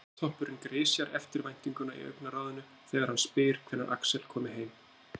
Hártoppurinn grisjar eftirvæntinguna í augnaráðinu þegar hann spyr hvenær Axel komi heim.